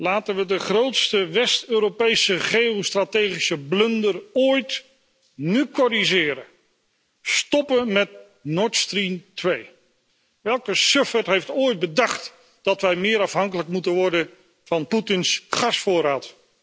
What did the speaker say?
Laten we de grootste West Europese geostrategische blunder ooit nu corrigeren! Stoppen met Nord Stream 2. Welke sufferd heeft ooit bedacht dat wij meer afhankelijk moeten worden van Poetins gasvoorraad?